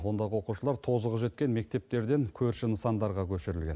ондағы оқушылар тозығы жеткен мектептерден көрші нысандарға көшірілген